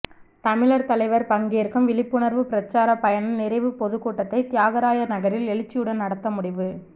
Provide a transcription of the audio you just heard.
தமிழர் தலைவர் பங்கேற்கும் விழிப்புணர்வு பிரச்சார பயணம் நிறைவு பொதுக்கூட்டத்தை தியாகராயர் நகரில் எழுச்சியுடன் நடத்த முடிவு